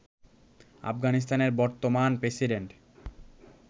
আফগানিস্তানের বর্তমান প্রেসিডেন্ট